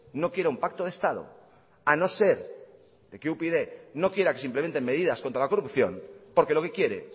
no quiera un pacto de estado a no ser que upyd no quiera simplemente medidas contra la corrupción porque lo que quiere